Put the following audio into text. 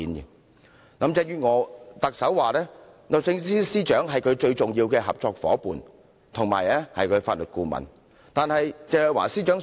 特首林鄭月娥指律政司司長是她最重要的合作夥伴，也是她的法律顧問。